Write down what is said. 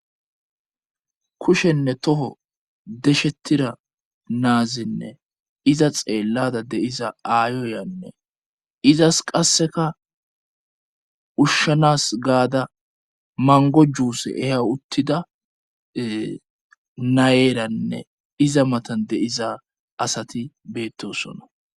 kushenne toho deshettira naazinne iza xeellada de'iza aayoyanne izas qasseka ushshanas gaada mango juuse eha uttida nayeeranne iza matan de'iza asati beettosona